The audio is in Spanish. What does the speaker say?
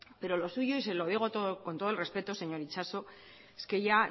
pero lo suyo y se lo digo con todo el respeto señor itxaso es que ya